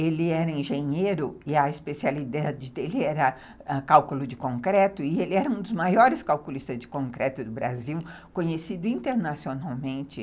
Ele era engenheiro e a especialidade dele era cálculo de concreto, e ele era um dos maiores calculistas de concreto do Brasil, conhecido internacionalmente.